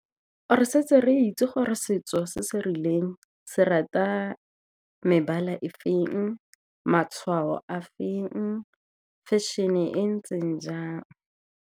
Or-e setse re itse gore setso se se rileng se rata mebala e feng, matshwao a feng, fashion-e e ntseng jang.